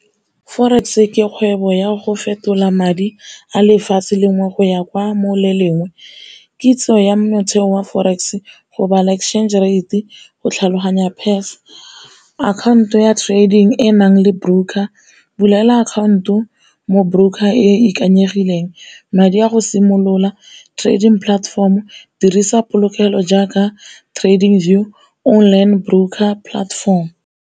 Forex ke kgwebo ya go fetola madi a lefatshe le nngwe go ya kwa mo le lengwe, kitso ya motheo wa forex go bala exchange rate, go tlhaloganya . Account-o ya trading e enang le broker, bulela akhaonto mo broker e ikaegileng. Madi a go simolola trading platform o dirisa polokelo jaaka trading , online broker platform.